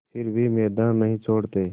फिर भी मैदान नहीं छोड़ते